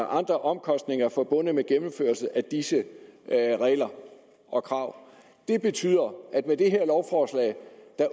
andre omkostninger forbundet med gennemførelsen af disse regler og krav det betyder at vi med det her lovforslag